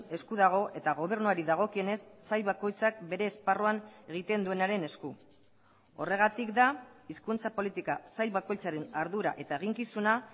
esku dago eta gobernuari dagokionez sail bakoitzak bere esparruan egiten duenaren esku horregatik da hizkuntza politika sail bakoitzaren ardura eta eginkizuna